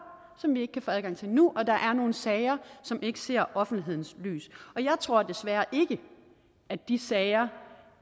som vi ikke kan få adgang til nu og der er nogle sager som ikke ser offentlighedens lys jeg tror desværre ikke at de sager